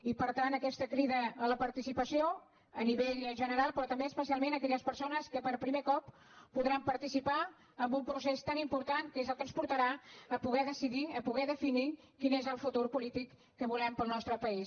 i per tant aquesta crida a la participació a nivell general però també especialment a aquelles persones que per primer cop podran participar en un procés tan important que és el que ens portarà a poder decidir a poder definir quin és el futur polític que volem per al nostre país